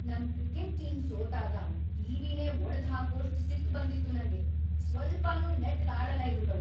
ನಮ್ cricket team ಸೋತಾಗ ಟಿ.ವಿ.ನೇ ಒಡ್ದ್‌ ಹಾಕೋಷ್ಟ್‌ ಸಿಟ್ಟ್‌ ಬಂದಿತ್ತು ನಂಗೆ, ಸ್ವಲ್ಪನೂ ನೆಟ್ಗ್‌ ಆಡಲ್ಲ ಇವ್ರ್‌ಗಳು.